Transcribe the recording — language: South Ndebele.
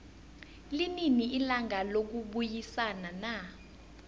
linini ilanga lokubayisana na